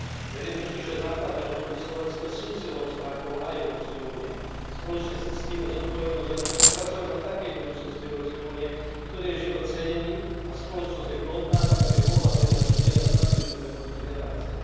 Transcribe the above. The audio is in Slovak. Verím totiž, že základné hodnoty Slovenska sú silnou stránkou aj Európskej únie. Spoločne si ctíme zodpovednosť a chceme pracovať na takej budúcnosti Európskej únie, v ktorej je život cenený a spoločnosť je plodná tak, aby mohla prinášať mier a stabilitu pre budúce generácie.